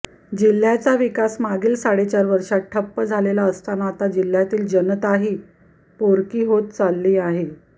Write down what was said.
जिल्ह्याचा विकास मागील साडेचार वर्षात ठप्प झालेला असताना आता जिल्ह्यातील जनताही पोरकी होत चालली आहे